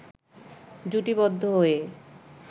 জুটিবদ্ধ হয়ে